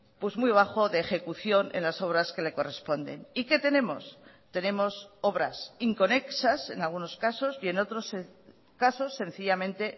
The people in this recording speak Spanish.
pues muy bajo de ejecución en las obras que le corresponden y qué tenemos tenemos obras inconexas en algunos casos y en otros casos sencillamente